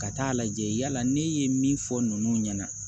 Ka taa lajɛ yala ne ye min fɔ ninnu ɲɛna